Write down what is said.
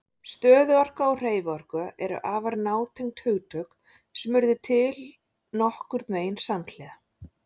Stöðuorka og hreyfiorka eru afar nátengd hugtök sem urðu til nokkurn veginn samhliða.